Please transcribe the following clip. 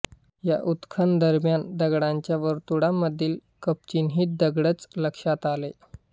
या उत्खनन दरम्यान दगडांच्या वर्तुळांमधील कपचिन्हित दगडच लक्षात आले